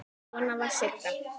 Svona var Siggi.